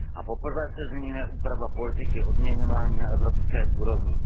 Poprvé se zmiňuje úprava politiky odměňování na evropské úrovni.